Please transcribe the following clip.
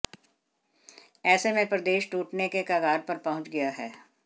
ऐसे में प्रदेश टूटने के कगार पर पहुंच गया है